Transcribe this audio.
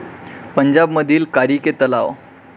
पंजाब मधील कारीके तलाव